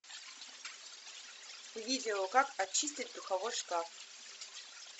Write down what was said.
видео как отчистить духовой шкаф